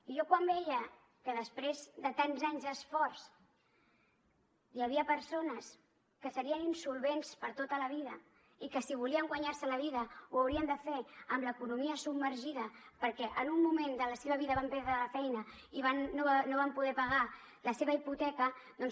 i jo quan veia que després de tants anys d’esforç hi havia persones que serien insolvents per tota la vida i que si volien guanyar se la vida ho haurien de fer amb l’economia submergida perquè en un moment de la seva vida van perdre la feina i no van poder pagar la seva hipoteca doncs